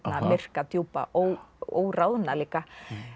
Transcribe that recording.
myrka djúpa og óráðna líka